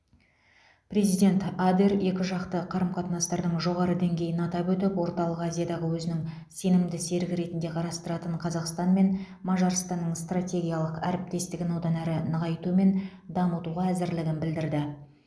президент адер екіжақты қарым қатынастардың жоғары деңгейін атап өтіп орталық азиядағы өзінің сенімді серігі ретінде қарастыратын қазақстанмен мажарстанның стратегиялық әріптестігін одан әрі нығайту мен дамытуға әзірлігін білдірді